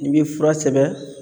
I bɛ fura sɛbɛn